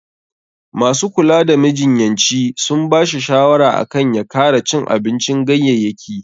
Masu kula da majinyaci sun ba shi shawara akan ya kara cin abincin ganyayyaki.